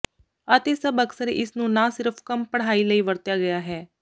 ਅਤੇ ਸਭ ਅਕਸਰ ਇਸ ਨੂੰ ਨਾ ਸਿਰਫ਼ ਕੰਮ ਪੜ੍ਹਾਈ ਲਈ ਵਰਤਿਆ ਗਿਆ ਹੈ